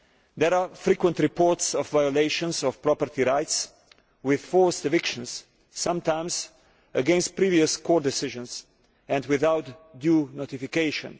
There are frequent reports of violations of property rights, with forced evictions, sometimes against previous court decisions, and without due notification.